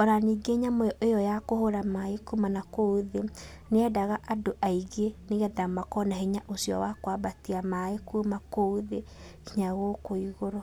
ona ningĩ nyamũ ĩyo ya kũhũra maĩ kuma nakũu thĩ nĩyendaga andũ aingĩ nĩgetha makorwo na hinya ũcio wa kwambatia kuma kũu thĩ nginya gũkũ igũrũ.